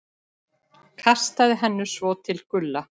Kastaði henni svo til Gulla.